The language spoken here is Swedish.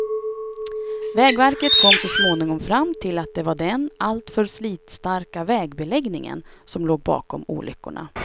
Vägverket kom så småningom fram till att det var den alltför slitstarka vägbeläggningen som låg bakom olyckorna.